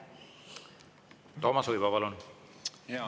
Toomas Uibo, palun!